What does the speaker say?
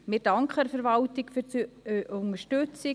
Wir danken der Verwaltung für die Unterstützung.